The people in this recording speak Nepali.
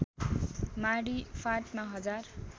माडी फाँटमा हजार